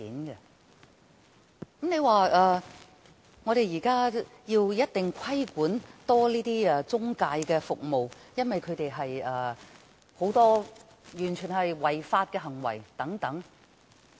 現時，有人提出要加強規管中介服務，因為這些中介有很多違法行為。